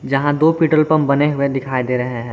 यहां दो petrol pump बने हुए दिखाई दे रहे हैं।